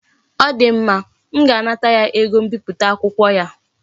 O di mma. M ga-anata ya ego mbipụta akwụkwọ ya